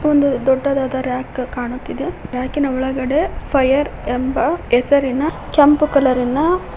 ಒಂದು ದೊಡ್ಡದಾದ ರಾಕ್ ಕಾಣುತ್ತಿದೆ ರಾಕ್ ಇನ ಒಳಗಡೆ ಫೈಯರ್ ಎಂಬ ಹೆಸರಿನ ಕೆಂಪು ಕಲರ್ ಇನ--